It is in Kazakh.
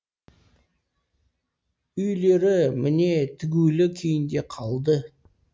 үйлері міне тігулі күйінде қалды